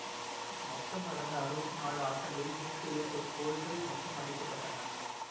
மொத்தம் நடந்த அறுவத்தி நாலு ஆட்டங்களில் நூத்தி எழுவத்தி ஓரு கோல்கள் மொத்தம் அடிக்கப்பட்டன